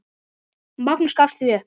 Magnús gafst því upp.